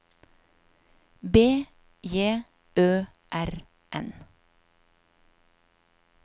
B J Ø R N